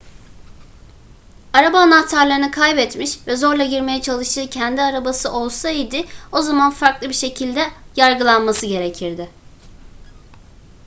araba anahtarlarını kaybetmiş ve zorla girmeye çalıştığı kendi arabası olsa idi o zaman farklı bir şekilde yargılanması gerekirdi